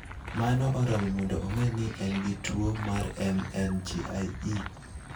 Mano oromo mondo ong'e ni en gi tuwo mar MNGIE.